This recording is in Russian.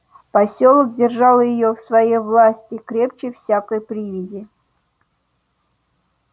посёлок держал её в своей власти крепче всякой привязи